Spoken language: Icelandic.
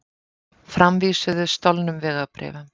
Framvísuðu stolnum vegabréfum